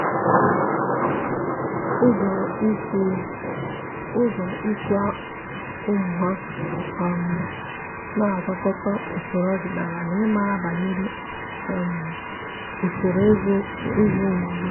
ụ́zọ́ ị́zụ́ ụ́mụ́ há um nà-ágwàkọ́tà usoro ọ́dị́nala na ị́màrà banyere um usoro ị́zụ́ ụ́mụ́ ugbu a.